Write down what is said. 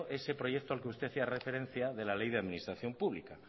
ese proyecto al que usted hacía referencia de la ley de administración pública